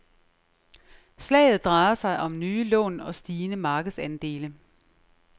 Slaget drejer sig om nye lån og stigende markedsandele.